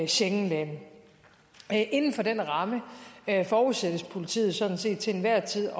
schengenlande inden for den ramme forudsættes politiet sådan set til enhver tid